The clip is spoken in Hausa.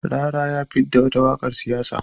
Rarara ya fidda wata waƙar siyasa.